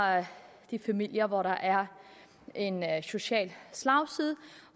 de familier hvor der er en social slagside